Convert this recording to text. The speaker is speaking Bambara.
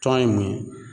Tɔn ye mun ye